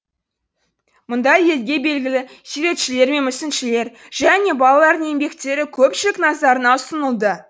мұнда елге белгілі суретшілер мен мүсіншілер және балалардың еңбектері көпшілік назарына ұсынылды